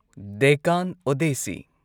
Deccan ꯑꯣꯗꯦꯁꯁꯤ